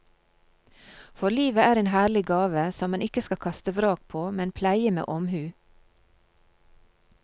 For livet er en herlig gave, som man ikke skal kaste vrak på, men pleie med omhu.